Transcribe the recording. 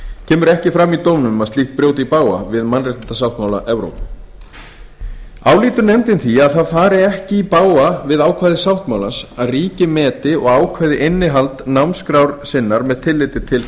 kemur ekki fram í dómnum að slíkt brjóti í bága við mannréttindasáttmála evrópu álítur nefndin því að það fari ekki í bága við ákvæði sáttmálans að ríki meti og ákveði innihald námskrár sinnar með tilliti til